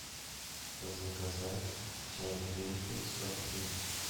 заказать чай гринфилд сто пакетиков